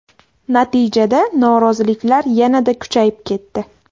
Natijada noroziliklar yanada kuchayib ketdi.